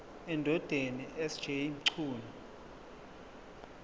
endodeni sj mchunu